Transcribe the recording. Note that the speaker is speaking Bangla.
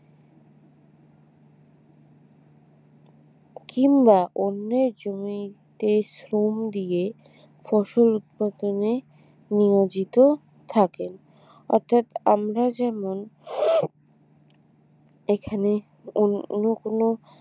কিংবা অন্যের জমিতে শ্রম দিয়ে ফসল উৎপাদনে নিয়োজিত থাকেন অতএব আমরা যেমন এখানে কোন কোন